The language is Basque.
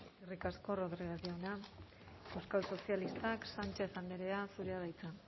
eskerrik asko rodriguez jauna euskal sozialistak sánchez andrea zurea da hitza